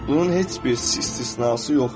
Bunun heç bir istisnası yoxdur.